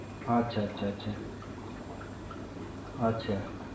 અચ્છા અચ્છા અચ્છા. અચ્છા